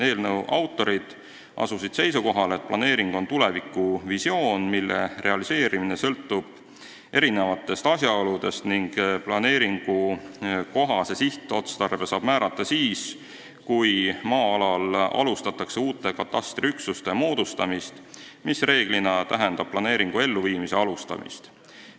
Eelnõu autorid asusid seisukohale, et planeering on tulevikuvisioon, mille realiseerimine sõltub erinevatest asjaoludest, ning planeeringukohase sihtotstarbe saab määrata siis, kui maa-alal alustatakse uute katastriüksuste moodustamist, mis reeglina tähendab planeeringu elluviimise alustamist.